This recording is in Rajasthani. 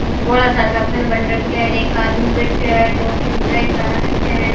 बोला सारा का खंड बन रख्या है और एक आदमी बैठयो है दो तीन ग्राहक आ राख्या है।